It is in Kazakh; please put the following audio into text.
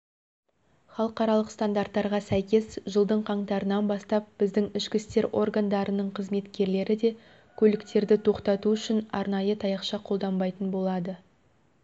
халықаралық стандарттарға сәйкес жылдың қаңтарынан бастап біздің ішкі істер органдарының қызметкерлері де көліктерді тоқтату үшін арнайы таяқша қолданбайтын болады